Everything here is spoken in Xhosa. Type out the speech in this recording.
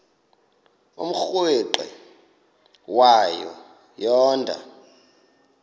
umrweqe wayo yoonda